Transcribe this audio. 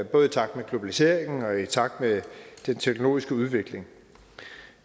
både i takt med globaliseringen og i takt med den teknologiske udvikling